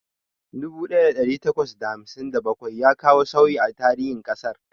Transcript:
Dubu ɗaya da ɗari takwas da hamsin da bakwai ya kawo sauyi a tarihin ƙasar.